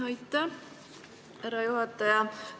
Aitäh, härra juhataja!